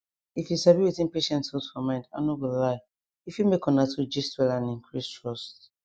if you sabi wetin patients hold for mind i no go lie e fit make una two gist well and increase trust